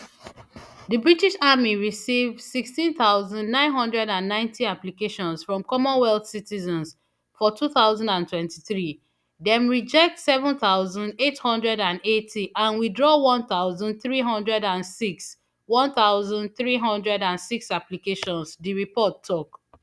di british army receive sixteen thousand, nine hundred and ninety applications from commonwealth citizens for two thousand and twenty-three dem reject seven thousand, eight hundred and eighty and withdraw one thousand, three hundred and six one thousand, three hundred and six applications di report tok